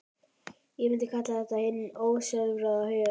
Ég myndi kalla þetta hinn ósjálfráða huga.